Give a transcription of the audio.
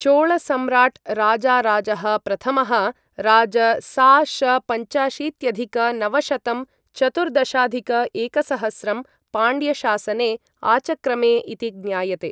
चोलसम्राट् राजाराजः प्रथमः राज सा.श.पञ्चाशीत्यधिक नवशतं चतुर्दशाधिक एकसहस्रं पाण्ड्यशासने आचक्रमे इति ज्ञायते।